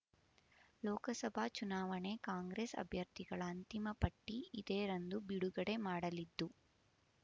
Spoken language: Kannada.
ಲೋಕಸಭಾ ಚುನಾವಣೆ ಕಾಂಗ್ರೆಸ್ ಅಭ್ಯರ್ಥಿಗಳ ಅಂತಿಮ ಪಟ್ಟಿ ಇದೇ ರಂದು ಬಿಡುಗಡೆ ಮಾಡಲಿದ್ದು